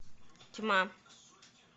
тьма